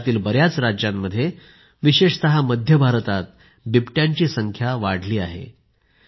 देशातील बर्याच राज्यांत विशेषत मध्य भारतात बिबट्यांची संख्या वाढली आहे